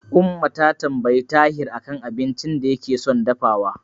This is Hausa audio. Umma ta tambayi Tahir a kan abincin da yake son dafawa.